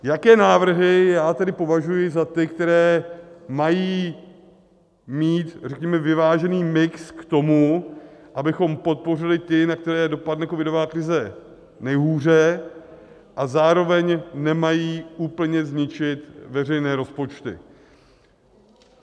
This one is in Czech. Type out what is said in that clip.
Jaké návrhy já tedy považuji za ty, které mají mít, řekněme, vyvážený mix k tomu, abychom podpořili ty, na které dopadne covidová krize nejhůře a zároveň nemají úplně zničit veřejné rozpočty.